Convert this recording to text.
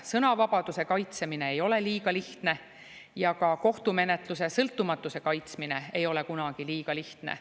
Sõnavabaduse kaitsmine ei ole liiga lihtne ja ka kohtumenetluse sõltumatuse kaitsmine ei ole kunagi liiga lihtne.